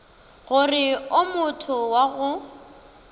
gore o motho wa go